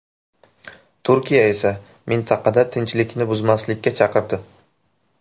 Turkiya esa mintaqada tinchlikni buzmaslikka chaqirdi .